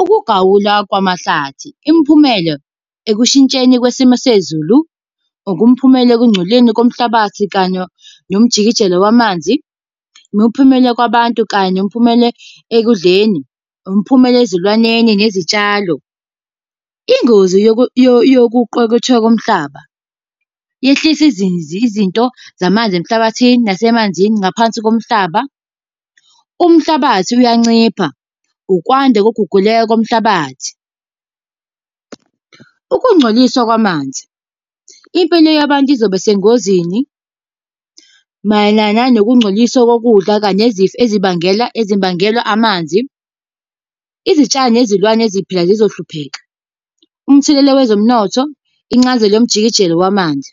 Ukugawulwa kwamahlathi, imiphumela ekushintsheni kwesimo sezulu, ukumphumela ekungcoleni komhlabathi kanye nomjikijelo wamanzi. Imiphumele kwabantu kanye nemiphumele ekudleni. Umphumela ezilwaneni nezitshalo. Ingozi yokuqekethwa komhlaba yehlisa izinto zamanzi emhlabathini, nasemanzini, ngaphansi komhlaba. Umhlabathi uyancipha, ukwanda kokugugulela komhlabathi. Ukungcoliswa kwamanzi, impilo yabantu izoba sengozini mayelana nokungcoliswa kokudla kanye nezifo ezibangela zibangelwa amanzi. Izitshalo nezilwane eziphilayo zizohlupheka. Umthelela wezomnotho, incazelo yomjikijelo wamanzi.